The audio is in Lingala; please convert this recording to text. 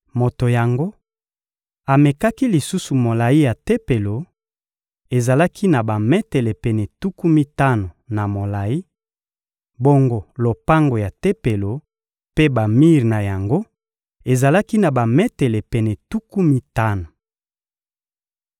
Moto yango amekaki lisusu molayi ya Tempelo: ezalaki na bametele pene tuku mitano na molayi; bongo lopango ya Tempelo mpe bamir na yango ezalaki na bametele pene tuku mitano.